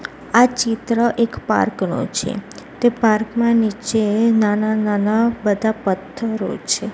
આ ચિત્ર એક પાર્ક નો છે તે પાર્ક માં નીચે નાના નાના બધા પથ્થરો છે.